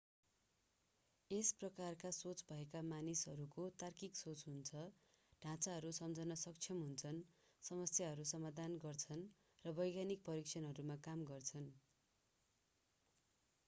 यस प्रकारका सोच भएका मानिसहरूको तार्किक सोच हुन्छ ढाँचाहरू सम्झन सक्षम हुन्छन् समस्याहरू समाधान गर्छन् र वैज्ञानिक परीक्षणहरूमा काम गर्छन्